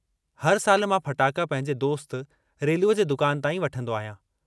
हर साल मां फटाका पंहिंजे दोस्त रेलूअ जे दुकान तां ई वठंदो आहियां।